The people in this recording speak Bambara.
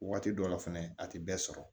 Waati dɔ la fɛnɛ a tɛ bɛɛ sɔrɔ